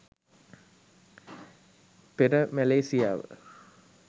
පෙර මැලේසියාව